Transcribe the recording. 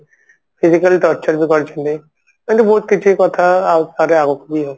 physical Touch ବି କରିଛନ୍ତି ଏମତି ବହୁତ କିଛି କଥା ଆଉ